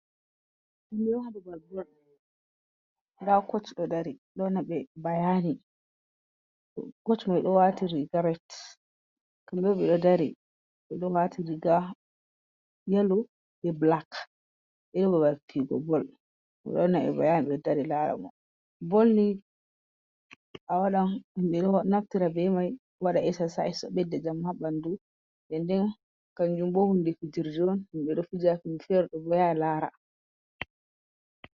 Nda koch ɗo dari, ɗo wannaɓe bayani, koch mai ɗo wati riga ret, kamɓe bo ɓe ɗo dari ɓeɗo wati yelo be bulak , ɓeɗo babal fijugo bol, ɓeɗo wanname bayani, ɓeɗo dari larabo, bol ni awaɗan himɓe ɗo naftira be mai waɗa eksasayis, ɗo bedda jamu ha ɓanduu, den den kanun hun bod hune fijirde on, himɓe ɗo yaha lara.